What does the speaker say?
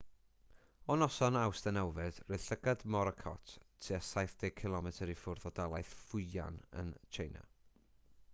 o noson awst 9 roedd llygad morakot tua saith deg cilomedr i ffwrdd o dalaith fujian yn tsieina